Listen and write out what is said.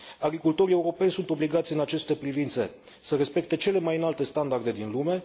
Agricultorii europeni sunt obligați în aceste privințe să respecte cele mai înalte standarde din lume.